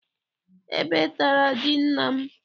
Ebe tara ji nna m.